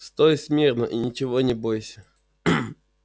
стой смирно и ничего не бойся